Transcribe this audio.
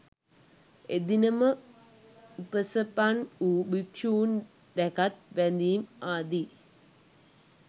එදින ම උපසපන් වූ භික්‍ෂූන් දැකත් වැඳීම් ආදී